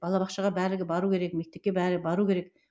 бала бақшаға барлығы бару керек мектепке бәрі бару керек